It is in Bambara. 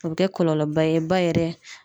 A be kɛ kɔlɔlɔ ba ye ba yɛrɛ